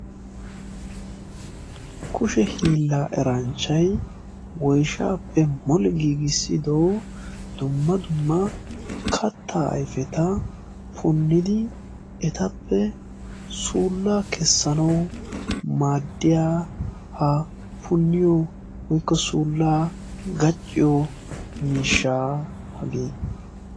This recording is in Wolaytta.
kushe hiillaa eranchchai woishaappe moli giigissido dumma dumma katta aifeta punnidi etappe suullaa kessanau madiyaa ha punniyo woikko suullaa gacciyo miishshaaa hagee.